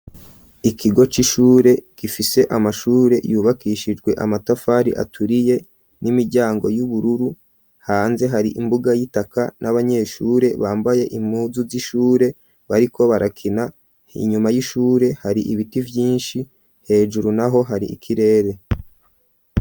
Ikigo c'ishure gifishe amashure yubakishijwe amatafari aturiye n'imiryango y'ubururu hanze hari imbuga y'itaka n'abanyeshure bambaye impuzu z'ishure bariko barakina inyuma y'ishure hari ibiti vyinshi hejuru naho hari ikirere.